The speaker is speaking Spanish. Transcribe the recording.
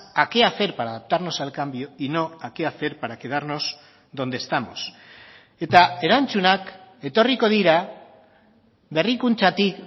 a qué hacer para adaptarnos al cambio y no a qué hacer para quedarnos donde estamos eta erantzunak etorriko dira berrikuntzatik